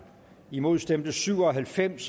imod stemte syv og halvfems